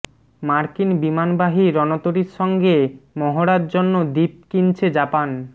মার্কিন বিমানবাহী রণতরির সঙ্গে মহড়ার জন্য দ্বীপ কিনছে জাপান